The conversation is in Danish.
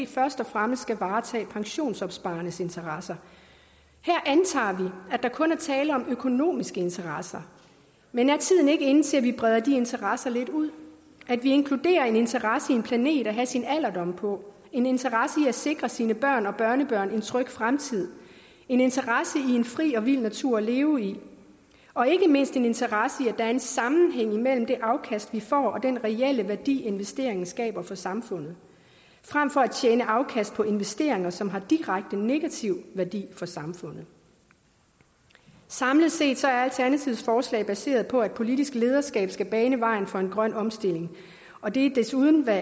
først og fremmest skal varetage pensionsopsparernes interesser her antager at der kun er tale om økonomiske interesser men er tiden ikke inde til at vi breder de interesser lidt ud at vi inkluderer interesse i en planet kan have sin alderdom på en interesse i at sikre sine børn og børnebørn en tryg fremtid en interesse i en fri og vild natur at leve i og ikke mindst en interesse i at der er sammenhæng mellem det afkast vi får og den reelle værdi investeringen skaber for samfundet frem for at tjene afkast på investeringer som har direkte negativ værdi for samfundet samlet set er alternativets forslag baseret på at politisk lederskab skal bane vejen for grøn omstilling og det er desuden hvad